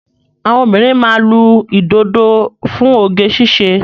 Àwọn òbinrín máa ma lu ìdodo fún oge ṣíṣe